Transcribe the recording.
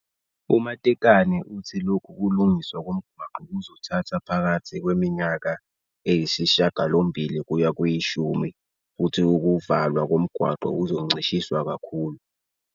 U-Matekane uthi lokhu kulungiswa komgwaqo kuzothatha phakathi kweminyaka eyisishiyagalombili kuya kweyishumi futhi ukuvalwa komgwaqo kuzoncishiswa kakhulu.